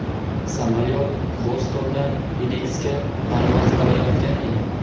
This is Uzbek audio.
Samolyot Bostondan Feniksga parvoz qilayotgan edi.